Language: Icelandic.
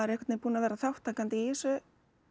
einhvern veginn búinn að vera þátttakandi í þessu